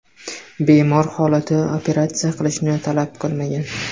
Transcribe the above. Bemor holati operatsiya qilishni talab qilmagan.